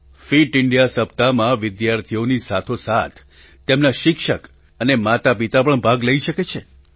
fit India સપ્તાહમાં વિદ્યાર્થીઓની સાથોસાથ તેમના શિક્ષક અને માતાપિતા પણ ભાગ લઈ શકે છે